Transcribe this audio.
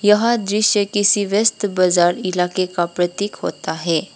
यह दृश्य किसी व्यस्त बाजार इलाके का प्रतीक होता है।